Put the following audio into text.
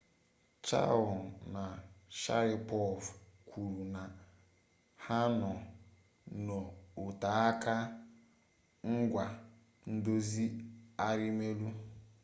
chiao na sharipov kwuru na ha nọ n'oteaka ngwa ndozi arimelu